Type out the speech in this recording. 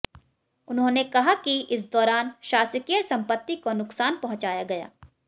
उन्होंने कहा कि इस दौरान शासकीय संपत्ति को नुकसान पहुंचाया गया